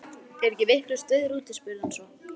Er ekki vitlaust veður úti? spurði hann svo.